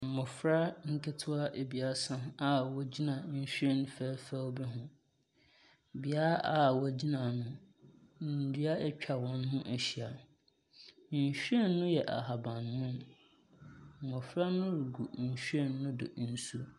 Mbɔfra nketoa ebiasa a wɔgyina nhwiren fɛɛfɛw bi ho. Bia a wogyina no ndua etwa wɔn ho ehyia. Nhwiren no yɛ ahabammono, mbɔfra no gu nhwiren ne do nso.